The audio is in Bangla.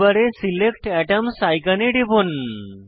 টুল বারে সিলেক্ট এটমস আইকনে টিপুন